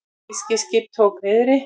Fiskiskip tók niðri